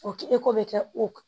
O kɛ ko bɛ kɛ o